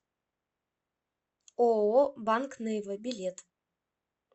ооо банк нейва билет